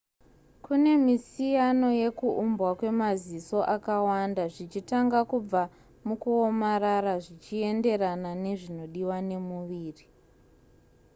kune misiyano yekuuumbwa kwemaziso akawanda zvichitanga kubva mukuomarara zvichienderana nezvinodiwa nemuviri